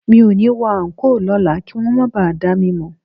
Mi ò ní wọ àńkò lọ́la kí wọn máa ba à dá mi mọ̀